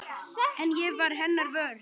En ég varð hennar vör.